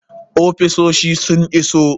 Ofisosi sun iso.